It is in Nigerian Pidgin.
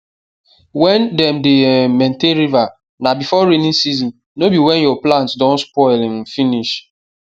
when dem dey um maintain river na before raining season no be when your plants don spoil um finish